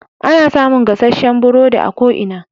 Ana samun gasasshen burodi a ko ina.